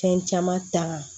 Fɛn caman ta